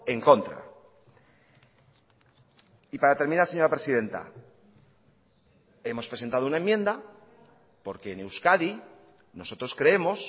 en contra y para terminar señora presidenta hemos presentado una enmienda porque en euskadi nosotros creemos